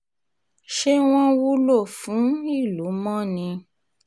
ṣé wọ́n wúlò fún um ìlú mọ́ ni